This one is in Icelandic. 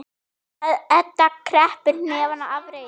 Edda kreppir hnefana af reiði.